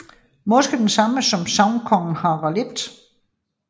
Måske den samme som sagnkongen Harald 1